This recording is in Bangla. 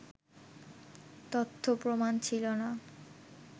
তথ্য প্রমাণ ছিলো না